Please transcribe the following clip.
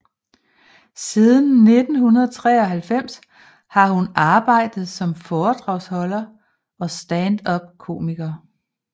Siden 1993 har hun arbejdet som foredragsholder og standupkomiker